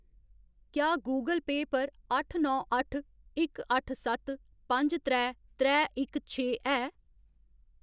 क्या गूगल पेऽ पर अट्ठ नौ अट्ठ इक अट्ठ सत्त पंज त्रै त्रै इक छे है?